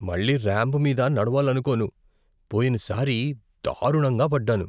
మళ్లీ ర్యాంప్ మీద నడవాలకోను. పోయినసారి దారుణంగా పడ్డాను.